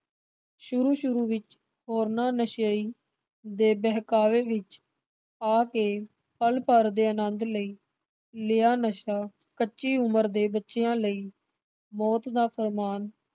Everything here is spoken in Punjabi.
ਸ਼ੁਰੂ ਸ਼ੁਰੂ ਵਿਚ ਹੋਰਨਾਂ ਨਸ਼ਈ ਦੇ ਬਹਿਕਾਵੇ ਵਿਚ ਆ ਕੇ ਪਲ ਭਰ ਦੇ ਆਨੰਦ ਲਈ ਲਿਆ ਨਸ਼ਾ ਕੱਚੀ ਉਮਰ ਦੇ ਬੱਚਿਆਂ ਲਈ ਮੌਤ ਦਾ ਫੁਰਮਾਨ